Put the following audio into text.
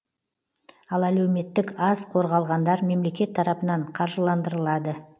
ал әлеуметтік аз қорғалғандар мемлекет тарапынан қаржыландырылады